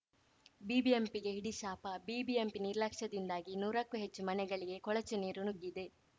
ಬಿಬಿಎಂಪಿಗೆ ಹಿಡಿಶಾಪ ಬಿಬಿಎಂಪಿ ನಿರ್ಲಕ್ಷ್ಯದಿಂದಾಗಿ ನೂರಕ್ಕೂ ಹೆಚ್ಚು ಮನೆಗಳಿಗೆ ಕೊಳಚೆ ನೀರು ನುಗ್ಗಿದೆ